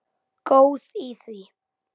Góð í því!